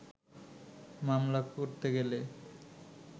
মামলা করতে গেলে